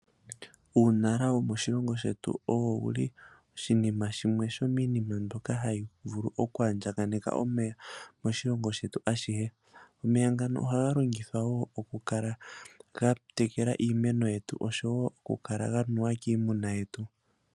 Uunala womoshilongo shetu owo wu li oshinima shimwe sho miinima mbyoka ha yi vulu oku andjakaneka omeya moshilongo shetu ashihe. Omeya ngano oha ga longithwa oku kala ga tekela iimeno yetu osho wo oku kala ga nuwa kiimuna yetu.